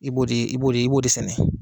I b'o de i b'o de i b'o de sɛnɛ!